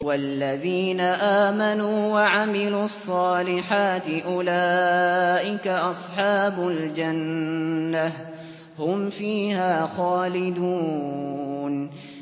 وَالَّذِينَ آمَنُوا وَعَمِلُوا الصَّالِحَاتِ أُولَٰئِكَ أَصْحَابُ الْجَنَّةِ ۖ هُمْ فِيهَا خَالِدُونَ